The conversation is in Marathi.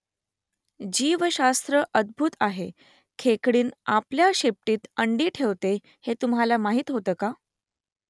जीवशास्त्र अद्भुत आहे . खेकडीण आपल्या शेपटीत अंडी ठेवते हे तुम्हाला माहीत होतं का ?